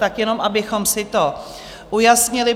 Tak jenom abychom si to ujasnili.